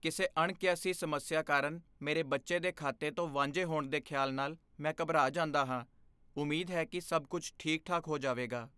ਕਿਸੇ ਅਣਕਿਆਸੀ ਸਮੱਸਿਆ ਕਾਰਨ ਮੇਰੇ ਬੱਚੇ ਦੇ ਖਾਤੇ ਤੋਂ ਵਾਂਝੇ ਹੋਣ ਦੇ ਖਿਆਲ ਨਾਲ ਮੈਂ ਘਬਰਾ ਜਾਂਦਾ ਹਾਂ, ਉਮੀਦ ਹੈ ਕੀ ਸਭ ਕੁੱਝ ਠੀਕ ਠਾਕ ਹੋ ਜਾਵੇਗਾ